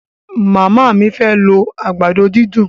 Màmá mí máa fẹ́ lo àgbàdo dídùn.